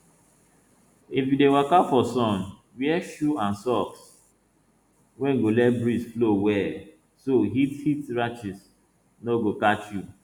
if you dey waka for sun wear shoe and socks wey go let breeze flow well so heat heat rash no go catch you